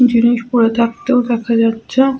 জিনিস পরে থাকতেও দেখা যাচ্ছে-এ।